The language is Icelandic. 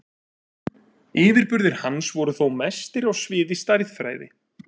yfirburðir hans voru þó mestir á sviði stærðfræði